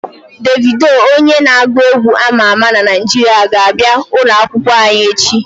Devido onye n'agu egwu ama ama na Naijiria ga-abia ulo akwukwo anyi echi